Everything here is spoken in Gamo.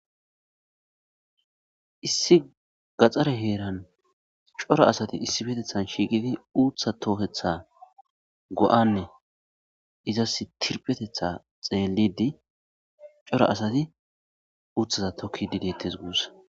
issi gaxxare heeran cora asati issibetethan shiiqidi uutha toohetha go7anne izas tirpetetha xeelidi cora asati uuththaza tokki didiettes guussa